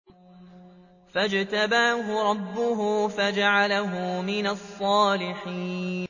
فَاجْتَبَاهُ رَبُّهُ فَجَعَلَهُ مِنَ الصَّالِحِينَ